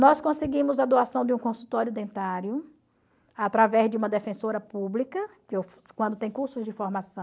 Nós conseguimos a doação de um consultório dentário, através de uma defensora pública, quando tem cursos de formação,